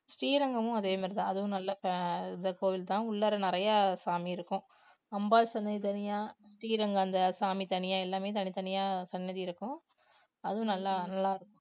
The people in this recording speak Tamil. ஸ்ரீரங்கமும் அதே மாதிரி தான் அதுவும் நல்ல fa~ கோவில் தான் உள்ளாற நிறைய சாமி இருக்கும் அம்பாள் சன்னதி தனியா ஸ்ரீரங்கம் அந்த சாமி தனியா எல்லாமே தனித்தனியா சன்னதி இருக்கும் அதுவும் நல்லா நல்லா இருக்கும்